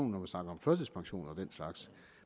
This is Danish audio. når man snakker om førtidspension og den slags